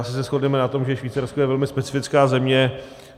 Asi se shodneme na tom, že Švýcarsko je velmi specifická země.